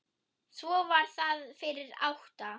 Svo var það fyrir átta.